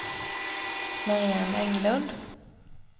Mariann Englund